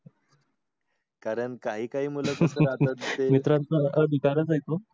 कारण काही काही